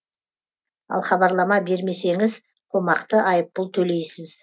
ал хабарлама бермесеңіз қомақты айыппұл төлейсіз